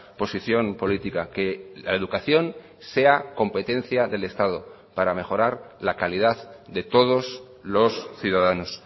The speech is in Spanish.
posición política que la educación sea competencia del estado para mejorar la calidad de todos los ciudadanos